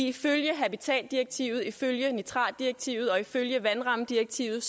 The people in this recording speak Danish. ifølge habitatdirektivet ifølge nitratdirektivet og ifølge vandrammedirektivet